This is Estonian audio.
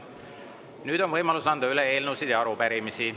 Nüüd on võimalus anda üle eelnõusid ja arupärimisi.